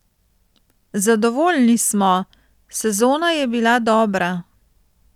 Zadovoljni smo, sezona je bila dobra.